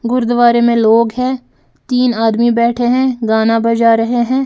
गुरुद्वारे में लोग हैं तीन आदमी बैठे हैं गाना बजा रहे हैं।